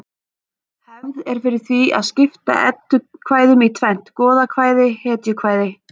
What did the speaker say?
Hefð er fyrir því að skipta eddukvæðum í tvennt: goðakvæði hetjukvæði